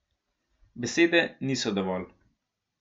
Besede niso dovolj.